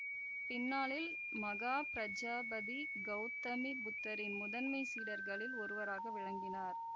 பின்னாளில் மகாபிரஜாபதி கௌதமி புத்தரின் முதன்மை சீடர்களில் ஒருவராக விளங்கினார்